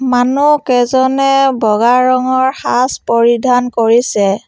মানুহকেইজনে বগা ৰঙৰ সাজ পৰিধান কৰিছে।